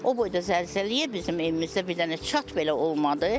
O boyda zəlzələyə bizim evimizdə bir dənə çat belə olmadı.